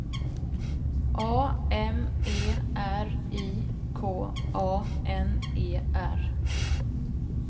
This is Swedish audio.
A M E R I K A N E R